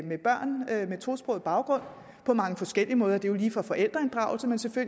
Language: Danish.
tosproget baggrund på mange forskellige måder det er jo lige fra forældreinddragelse til